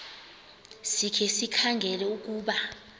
sikhe sikhangele ukuba